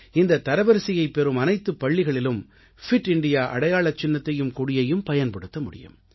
இந்த தரவரிசையைப் பெறும் அனைத்துப் பள்ளிகளாலும் பிட் இந்தியா அடையாளச் சின்னத்தையும் கொடியையும் பயன்படுத்த முடியும்